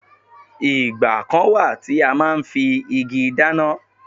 Ìgbà kan wà tí a máa ń fi igi dáná.